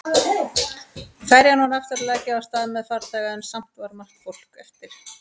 Ferjan var aftur að leggja af stað með farþega en samt var margt fólk eftir.